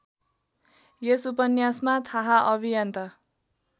यस उपन्यासमा थाहाअभियान्ता